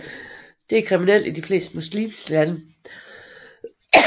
Det er kriminelt i de fleste muslimske lande